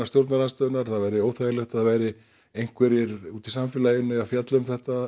stjórnarandstöðunnar það væri óþægilegt að það væru einhverjir úti í samfélaginu að fjalla um þetta